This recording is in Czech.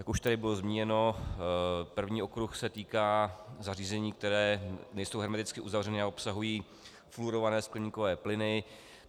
Jak už tady bylo zmíněno, první okruh se týká zařízení, která nejsou hermeticky uzavřena a obsahují fluorované skleníkové plyny.